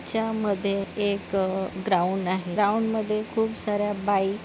च्यामध्ये एक ग्राऊंड आहे ग्राऊंडमध्ये खूप साऱ्या बाइक --